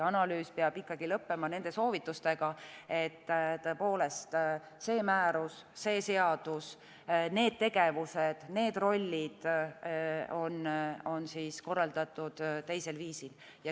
Analüüs peab ikkagi lõppema nende soovitustega, et see määrus, seadus, need tegevused, rollid on korraldatud teisel viisil.